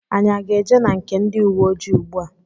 Anyị aga eje na nke ndị ùwé ojii ugbua?